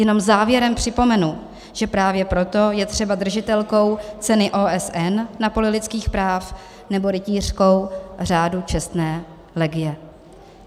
Jenom závěrem připomenu, že právě proto je třeba držitelkou ceny OSN na poli lidských práv nebo rytířkou Řádu čestné legie.